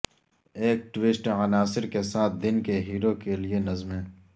ایک ٹوسٹ عناصر کے ساتھ دن کے ہیرو کے لئے نظمیں